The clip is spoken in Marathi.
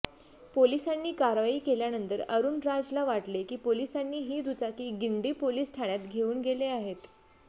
पोलिसांनी कारवाई केल्यानंतर अरुणराजला वाटले की पोलिसांनी ही दुचाकी गिंडी पोलिस ठाण्यात घेऊन गेले आहेत